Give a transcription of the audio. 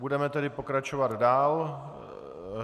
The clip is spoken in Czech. Budeme tedy pokračovat dál.